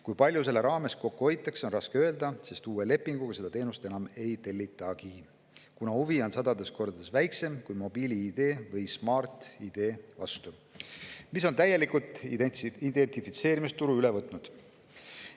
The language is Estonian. Kui palju sellega kokku hoitakse, on raske öelda, sest uue lepinguga seda teenust enam ei tellitagi, kuna huvi on sadades kordades väiksem kui mobiil‑ID või Smart‑ID vastu, mis on identifitseerimisturu täielikult üle võtnud.